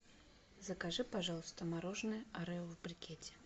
закажи пожалуйста мороженое орео в брикете